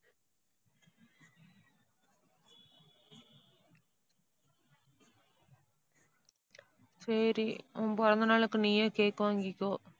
சரி, உன் பிறந்தநாளுக்கு நீயே cake வாங்கிக்கோ